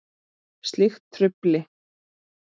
Slíkt trufli.